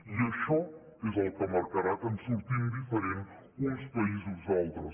i això és el que marcarà que en sortim diferent uns països d’altres